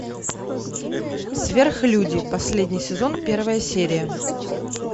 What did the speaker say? сверхлюди последний сезон первая серия